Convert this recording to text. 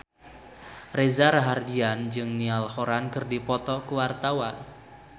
Reza Rahardian jeung Niall Horran keur dipoto ku wartawan